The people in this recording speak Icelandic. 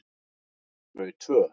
Þau tvö